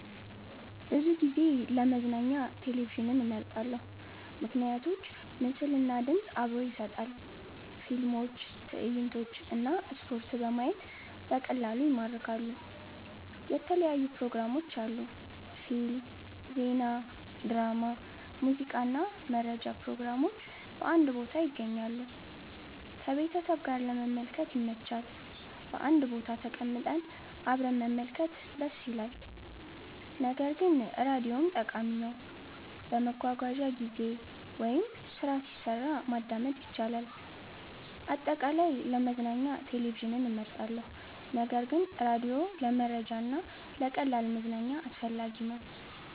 ብዙ ጊዜ ለመዝናኛ ቴሌቪዥንን እመርጣለሁ። ምክንያቶች ምስል እና ድምፅ አብሮ ይሰጣል – ፊልሞች፣ ትዕይንቶች እና ስፖርት በማየት በቀላሉ ይማርካሉ። የተለያዩ ፕሮግራሞች አሉ – ፊልም፣ ዜና፣ ድራማ፣ ሙዚቃ እና መረጃ ፕሮግራሞች በአንድ ቦታ ይገኛሉ። ከቤተሰብ ጋር ለመመልከት ይመች – በአንድ ቦታ ተቀምጠን አብረን መመልከት ደስ ይላል። ነገር ግን ራዲዮም ጠቃሚ ነው፤ በመጓጓዣ ጊዜ ወይም ስራ ሲሰራ ማዳመጥ ይቻላል። አጠቃላይ፣ ለመዝናኛ ቴሌቪዥን እመርጣለሁ ነገር ግን ራዲዮ ለመረጃ እና ለቀላል መዝናኛ አስፈላጊ ነው።